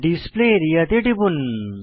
display area তে টিপুন